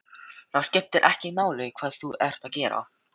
Það skiptir ekki máli hvað þú ert að gera.